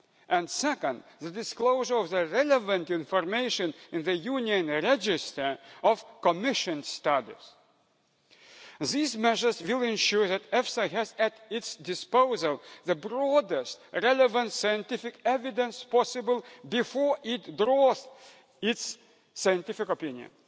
and, second, the disclosure of the relevant information in the Union register of commissioned studies. These measures will ensure that EFSA has at its disposal the broadest relevant scientific evidence possible before it drafts its scientific opinion.